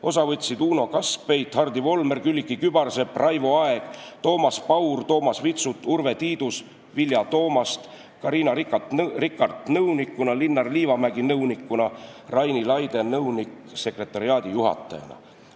Osa võtsid Uno Kaskpeit, Hardi Volmer, Külliki Kübarsepp, Raivo Aeg, Toomas Paur, Toomas Vitsut, Urve Tiidus, Vilja Toomast, Carina Rikart nõunikuna, Linnar Liivamägi nõunikuna ja Raini Laide nõunik-sekretariaadijuhatajana.